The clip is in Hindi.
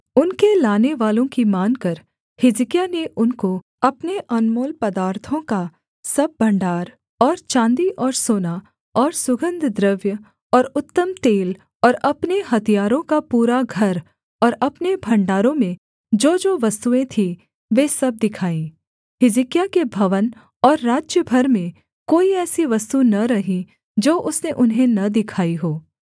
उनके लानेवालों की मानकर हिजकिय्याह ने उनको अपने अनमोल पदार्थों का सब भण्डार और चाँदी और सोना और सुगन्धद्रव्य और उत्तम तेल और अपने हथियारों का पूरा घर और अपने भण्डारों में जोजो वस्तुएँ थीं वे सब दिखाईं हिजकिय्याह के भवन और राज्य भर में कोई ऐसी वस्तु न रही जो उसने उन्हें न दिखाई हो